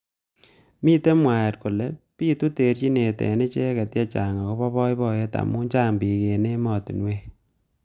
Mitei mwaet kole bitu terjinet eng icheket chechang akobo boiboyet amu chang bik eng ematunwek.